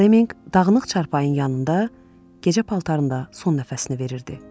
Flemminq dağınıq çarpayın yanında gecə paltarında son nəfəsini verirdi.